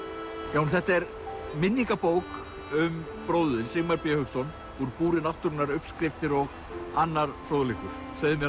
Jón þetta er minningabók um bróður þinn Sigmar b Hauksson úr búri náttúrunnar uppskriftir og annar fróðleikur segðu mér